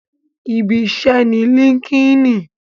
Ibi iṣẹ́ ni líńki-inì